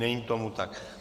Není tomu tak.